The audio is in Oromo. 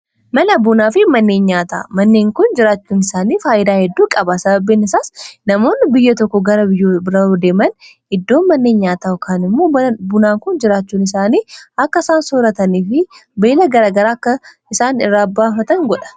Mana bunaa fi manneen nyaataa manneen kun jiraachuun isaanii faayyidaa hedduu qabaa sababa keennisaas namoonni biyya tokko gara biyya bira yoo deeman iddoon manneen nyaataa kaan immoo bunaa kun jiraachuun isaanii akka isaan sooratanii fi beela garagaraa akka isaan irraa baafatan godha.